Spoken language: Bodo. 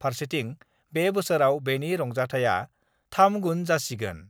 फारसेथिं बे बोसोराव बेनि रंजाथाया 3 गुन जासिगोन।